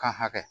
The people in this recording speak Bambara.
Kan hakɛ